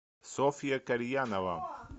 софья кальянова